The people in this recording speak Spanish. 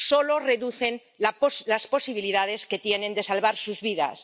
solo reducen las posibilidades que tienen de salvar sus vidas.